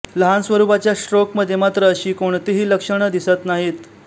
लहान स्वरूपाच्या स्ट्रोक मध्ये मात्र अशी कोणतीही लक्षण दिसत नाहीत